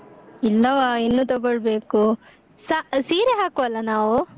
ಇಲ್ಲವಾ ಇನ್ನು ತಗೊಳ್ಬೇಕು, ಸಾ∼ ಸೀರೆ ಹಾಕುವಲ್ಲ ನಾವು?